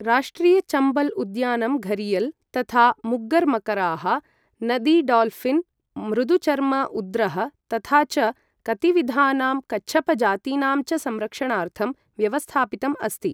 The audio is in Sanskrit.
राष्ट्रिय चम्बल् उद्यानं घरियल् तथा मुग्गर् मकराः, नदी डाल्ऴिन्, मृदुचर्म उद्रः, तथा च कतिविधानां कच्छपजातीनां च संरक्षणार्थं व्यवस्थापितं अस्ति।